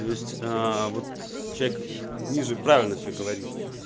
то есть вот человек ниже правильно все говорит